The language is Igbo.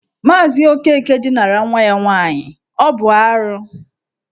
Maazị Okeke dinara nwa ya nwaanyị, ọ bụ arụ.